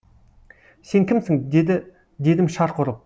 сен кімсің дедім шарқ ұрып